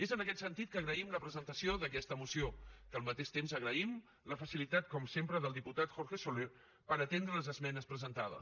és en aquest sentit que agraïm la presentació d’aquesta moció que al mateix temps agraïm la facilitat com sempre del diputat jorge soler per atendre les esmenes presentades